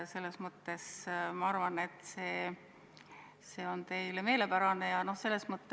Selles mõttes, et see peaks teile meelepärane olema.